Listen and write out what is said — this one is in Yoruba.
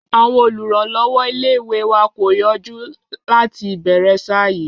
Àwọn olùrànlọ́wọ́ ilé-ìwé wa kò yọjú láti ìbẹ̀rẹ̀ ṣáá yìí